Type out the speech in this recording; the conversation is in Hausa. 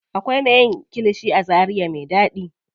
Akwai me yin kilishi a zaria me ɗaɗi.